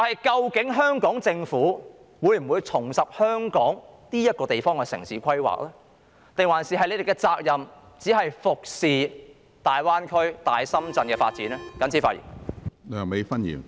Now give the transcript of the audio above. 究竟香港政府會否重拾香港這個地方的城市規劃，還是其責任只是服侍大灣區、大深圳的發展呢？